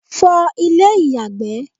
fọ ilé ìyàgbẹ́